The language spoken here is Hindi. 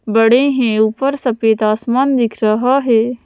बड़े हैं ऊपर सफेद आसमान दिख रहा है।